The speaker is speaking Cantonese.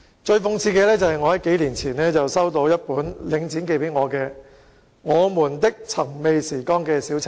最諷刺的是，我在數年前曾收到一本由領展寄出題為"我們的尋味時光"的小冊子。